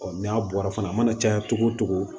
n'a bɔra fana a mana caya cogo o cogo